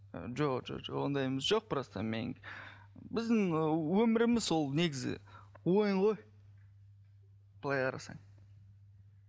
жоқ ондайымыз жоқ просто мен біздің өміріміз ол негізі ойын ғой былай қарасаң